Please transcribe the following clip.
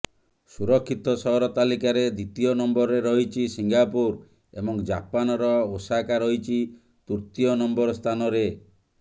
ସୁରକ୍ଷିତ ସହର ତାଲିକାରେ ଦ୍ୱିତୀୟ ନମ୍ବରରେ ରହିଛି ସିଙ୍ଗାପୁର ଏବଂ ଜାପାନର ଓସାକା ରହିଛି ତୃତୀୟ ନମ୍ବର ସ୍ଥାନରେ